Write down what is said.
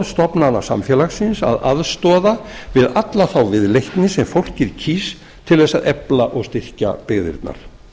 stoðstofnana samfélagsins að aðstoða við alla þá viðleitni sem fólkið kýs til þess að efla og styrkja byggðirnar